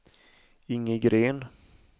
Inge Gren